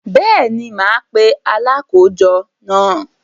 Bẹ́ẹ̀ni, mà á pe “ Alákòójọ” náà.